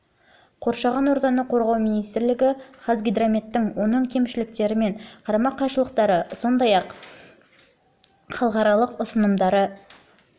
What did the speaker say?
қоршаған ортаны қорғау министрлігі қазгидрометтің оның кемшіліктері мен қарама қайшылықтарын сондай-ақ әрі қарай модернизациялау және халықаралық ұсынымдар мен